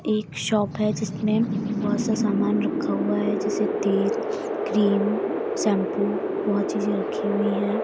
एक शॉप है जिसमें बहुत सा सामान रखा हुआ है जैसे तेल क्रीम शैम्पू बहुत चीज़ें रखी हुई हैं।